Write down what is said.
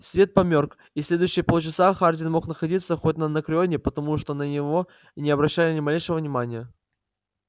свет померк и следующие полчаса хардин мог находиться хоть на анакреоне потому что на него не обращали ни малейшего внимания